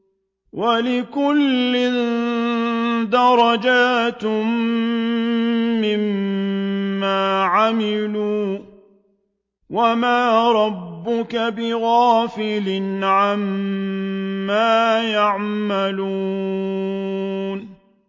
وَلِكُلٍّ دَرَجَاتٌ مِّمَّا عَمِلُوا ۚ وَمَا رَبُّكَ بِغَافِلٍ عَمَّا يَعْمَلُونَ